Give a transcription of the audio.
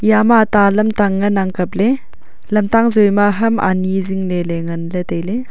yama ta lamtang nganang kapley lamtang zoi ma ham ani zingle ley nganley tailay.